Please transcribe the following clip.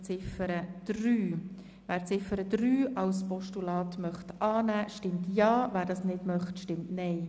Wer Ziffer 3 als Postulat annehmen will, stimmt Ja, wer sie ablehnt, stimmt Nein.